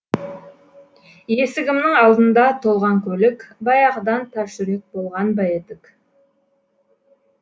есігімнің алдында толған көлік баяғыдан тас жүрек болған ба едік